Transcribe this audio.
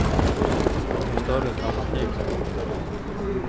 Det är ingen större dramatik längre.